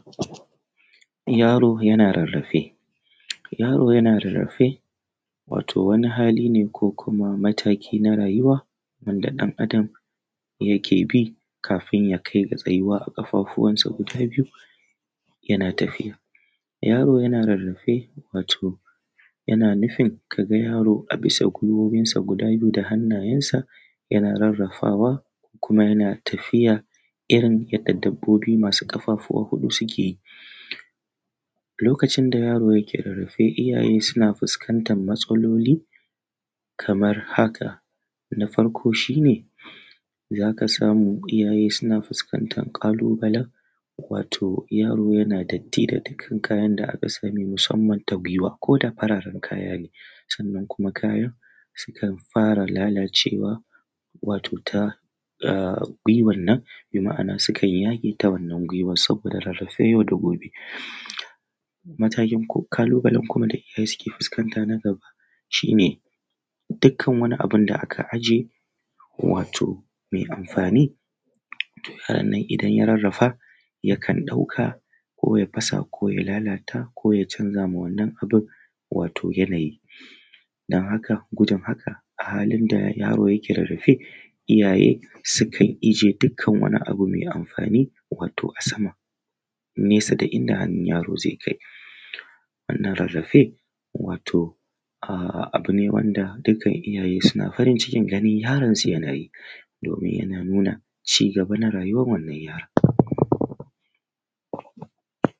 Yaro yana rarrafe, yaro yana rarrafe wato wani hali ne ko kuma mataki na rayuwa wanda ɗan Adam yake bi domin kafin ya kai ga tsayuwa a ƙafafuwansa guda biyu yana tafiya. Yaro yana rarrafe wato yana nufin ka ga yaro a bisa gwiwoyinsa guda biyu da hannayensa yana tattarawar kuma yana tafiya irin yadda dabbobi masu ƙafa huɗu suke yi. Lokacin da yaro yake rarrafe iyaye suna fuskantan matsaloli kamar haka; na farko shi ne za ka samu iyaye suna fuskantan ƙalubalen wato yaro yana datti da dukkan kayan da aka sa mai ta gwiwa ko da fararen kaya ne sannan kuma kayan sukan fara lalacewa wato ta ahh gwiwannan bima'ana sukan yage ta wannan gwiwar saboda rarrafe yau da gobe. Matakin Ƙalubale kuma da iyaye suke fuskanta na gaba shi ne dukkan wani abun da aka aje wato mai amfani yaronnan idan ya rarrafa zai ɗauka ko ya fasa ko ya lalata wannan abun wato yanayi. Don haka gudun haka a halin da yaro yake rarrafe iyaye sukan ije dukkan wani abu mai amfani wato a sama nesa da inda hannu yaro zai kai. Wannan rarrafe wato uhm abu ne wanda dukkan iyaye suna farin cikin ganin yaronsu yana yi domin yana nuna cigaba na rayuwam wannan yaron.